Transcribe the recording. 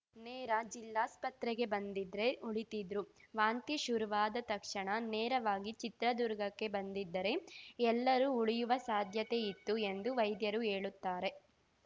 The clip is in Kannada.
ನೇರ ಜಿಲ್ಲಾಸ್ಪತ್ರೆಗೆ ಬಂದಿದ್ರೆ ಉಳಿತಿದ್ರು ವಾಂತಿ ಶುರವಾದ ತಕ್ಷಣ ನೇರವಾಗಿ ಚಿತ್ರದುರ್ಗಕ್ಕೆ ಬಂದಿದ್ದರೆ ಎಲ್ಲರೂ ಉಳಿಯುವ ಸಾಧ್ಯತೆ ಇತ್ತು ಎಂದು ವೈದ್ಯರು ಹೇಳುತ್ತಾರೆ